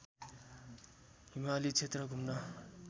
हिमाली क्षेत्र घुम्न